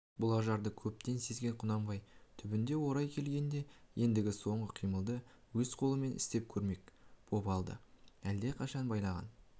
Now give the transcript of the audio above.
бұл ажарды көптен сезген құнанбай түбінде орайы келгенде ендігі соңғы қимылды өз қолымен істеп көрмек боп әлде қашан байлаған